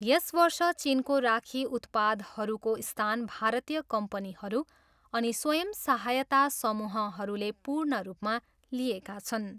यस वर्ष चिनको राखी उत्पादहरूको स्थान भारतीय कम्पनीहरू अनि स्वंय सहायता समूहहरूले पूर्ण रूपमा लिएका छन्।